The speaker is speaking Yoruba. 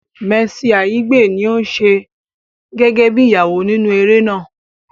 Mercy Aigbe ní ò ń ṣe gẹ́gẹ́ bí Ìyàwó nínú eré náà